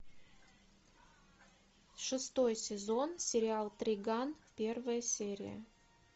шестой сезон сериал триган первая серия